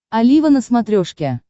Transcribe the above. олива на смотрешке